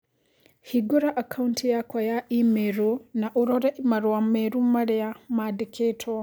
Hingũra akaunti yakwa ya i-mīrū na ũrore marũa merũ marĩa mandĩkĩtwo